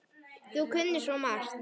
Þú kunnir svo margt.